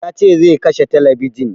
Ya ce zai kashe talabijin